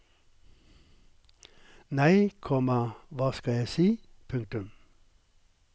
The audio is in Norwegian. Nei, komma hva skal jeg si. punktum